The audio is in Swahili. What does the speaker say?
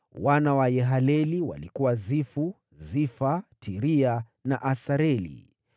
Wana wa Yahaleleli walikuwa: Zifu, Zifa, Tiria na Asareli.